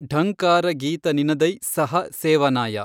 ಢಂಕಾರಗೀತನಿನದೈ ಸ್ಸಹ ಸೇವನಾಯ